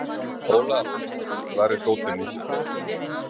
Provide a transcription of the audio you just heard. Olaf, hvar er dótið mitt?